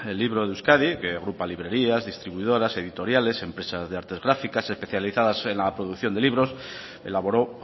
libro de euskadi que agrupa librerías distribuidoras editoriales empresas de artes gráficas especializadas en la producción de libros elaboró